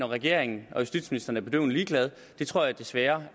regeringen og justitsministeren er bedøvende ligeglade tror jeg desværre